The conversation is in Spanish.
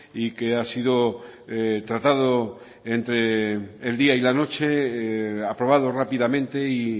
y que ha sido tratado entre el día y la noche aprobado rápidamente y